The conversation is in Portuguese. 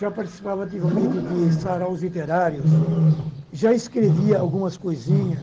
Já participava ativamente de saraus literários, já escrevia algumas coisinha